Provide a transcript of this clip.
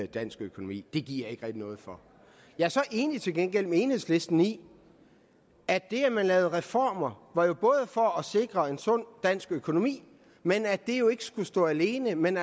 dansk økonomi det giver jeg noget for jeg er så til gengæld enig med enhedslisten i at det at man lavede reformer var for at sikre en sund dansk økonomi men at det jo ikke skulle stå alene man